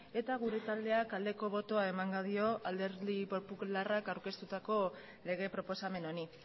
eta gure taldeak aldeko botoa emango dio alderdi popularrak aurkeztutako lege proposamen honi